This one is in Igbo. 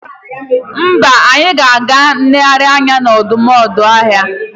Mba, anyị ga-aga nlegharị anya n'ọdọụmụanụọhịa